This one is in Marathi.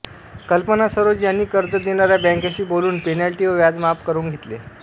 कल्पना सरोज यांनी कर्ज देणाऱ्या बॅंकाशी बोलून पेनल्टी व व्याज माफ करवून घेतले